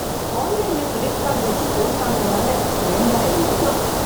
ஆன்லைன்ல credit card வச்சி phone வாங்குனதால, இரண்டாயிரம் மிச்சம்